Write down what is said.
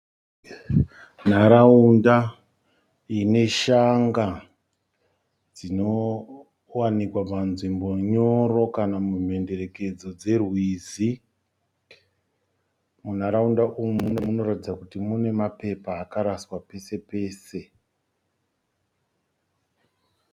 Nharaunda ine shanga dzinowanikwa panzvimbo nyoro kana mumhenderekedzo dzerwizi. Nharaunda umu munoratidza mapepa akaraswa pese pese